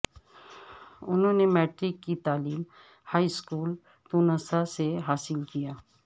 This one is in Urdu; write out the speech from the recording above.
انہوں نے میٹرک کی تعلیم ہائی سکول تونسہ سے حاصل کیا